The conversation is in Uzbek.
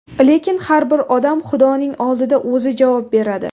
Lekin har bir odam xudoning oldida o‘zi javob beradi.